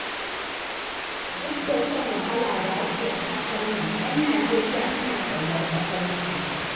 Duk da shan wahala da ake a ƙasarnan, 'yan Nijeriya suna ƙaunar ƙasarsu.